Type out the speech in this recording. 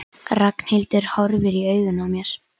En Bogga sagði með sannfæringarkrafti: Ég finn lykt af kóki